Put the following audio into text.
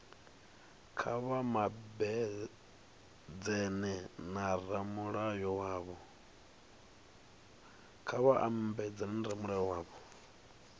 kha vha mabedzane na ramulayo wavho